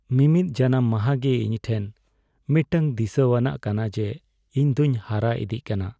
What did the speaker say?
ᱢᱤᱢᱤᱫ ᱡᱟᱱᱟᱢ ᱢᱟᱸᱦᱟ ᱜᱮ ᱤᱧ ᱴᱷᱮᱱ ᱢᱤᱫᱴᱟᱝ ᱫᱤᱥᱟᱹᱣᱟᱱᱟᱜ ᱠᱟᱱᱟ ᱡᱮ ᱤᱧ ᱫᱚᱧ ᱦᱟᱨᱟ ᱤᱫᱤᱜ ᱠᱟᱱᱟ ᱾